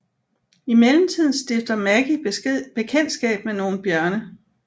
I mellemtiden stifter Maggie bekendtskab med nogle bjørne